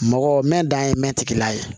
Mɔgɔ mɛ dan ye mɛtila ye